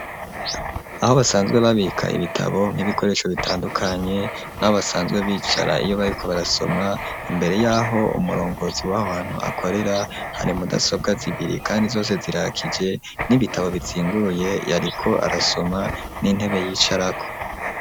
Aho basanzwe babika ibitabo nk'ibikoresho bitandukanye naho basanzwe bicara iyo bariko barasoma imbere yaho umurongozi w'abantu akorera hari mu dasobwa zibiri kandi zose zirakije n'ibitabo bizinguruye yariko arasoma n'intebe yicarako.